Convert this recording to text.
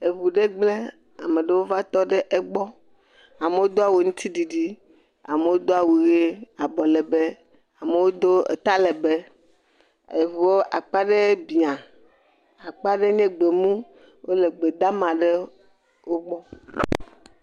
Eŋu ɖe gblẽ. Ame ɖewo va tɔ ɖe egbɔ. Amewo do awu aŋutiɖiɖi, amewo do awu ʋee abɔlɛbɛ, amewo do atalɛbɛ. Eŋuwo akpa ɖe biã, akpa ɖe nye gbemu, wole gbedama ɖewo gbɔ.